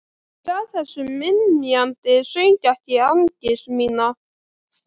Ég gef þessum ymjandi söng ekki angist mína.